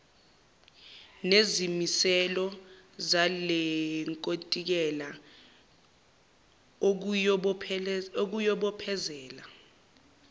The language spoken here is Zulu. nezimiselo zalenkontileka okuyobophezela